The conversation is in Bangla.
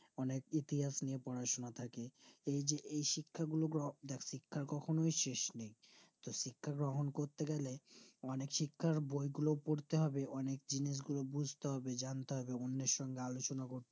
অনিক ইতিহাস নিয়ে পড়াশোনা সেই যে এই শিক্ষা গুলোকে শিক্ষা কখনো সেশনেই তো শিক্ষা গ্রহণ করতে গেলে মানে শিক্ষার বই গুলো পড়তে হবে অনিক জিনিস গুলো বুজতে হবে জানতে হবে বন্দুর সংঘে আলোচনা